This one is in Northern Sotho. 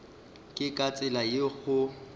ke ka tsela yeo go